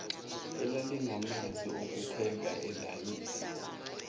elalinamanzi okupheka ilayisi